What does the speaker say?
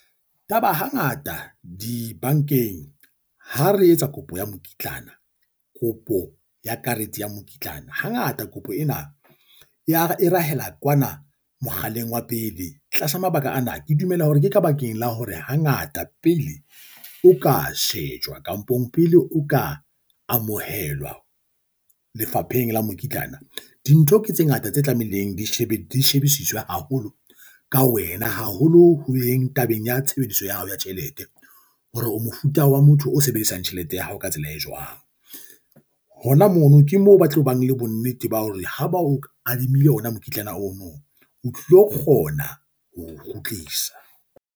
Taba hangata dibankeng ha re etsa kopo ya mokitlana kopo ya karete ya mokitlana hangata kopo ena e rahela kwana mokgaleng wa pele tlasa mabaka ana. Ke dumela hore ke ka bakeng la hore hangata pele o ka shejwa kampong pele o ka amohelwa lefapheng la mokitlana. Dintho ke tse ngata tse tlamehileng di shebile shebisiswe haholo ka wena haholo ho yeng tabeng ya tshebediso ya hao ya tjhelete. Hore o mofuta wa motho o sebedisang tjhelete ya hao ka tsela e jwang. Hona mono ke moo ba tlo bang le bonnete ba hore ha ba o adimile ona mokitlana ono o tlo kgona ho o kgutlisa.